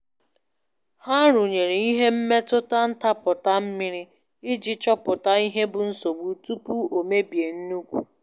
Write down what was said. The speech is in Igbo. Ha rụnyere ihe mmetụta ntapụta mmiri iji chopụta ihe bụ nsogbu tupu o mebie nnukwu.